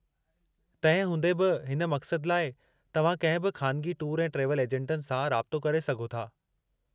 तंहिं हूंदे बि, हिन मक़सद लाइ, तव्हां कंहिं बि ख़ानिगी टूर ऐं ट्रैवल ऐजन्टनि सां राबितो करे सघो था।